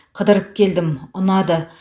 қыдырып келдім ұнады